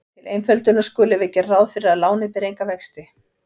Til einföldunar skulum við gera ráð fyrir að lánið beri enga vexti.